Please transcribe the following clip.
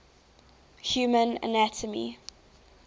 human anatomy